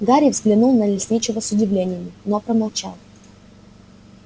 гарри взглянул на лесничего с удивлением но промолчал